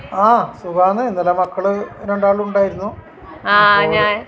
ആഹ് സുഖാണ് രണ്ടാളും ഉണ്ടായിരുന്നു അപ്പൊ